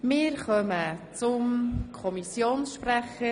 Das Wort hat nochmals der Kommissionssprecher.